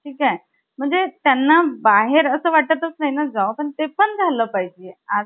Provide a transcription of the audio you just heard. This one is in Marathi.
ठीक हाय . म्हणजे त्यांना बाहेर आस वाटतच नाही ना जावस . म्हणजे ते पण झालं पाहिजे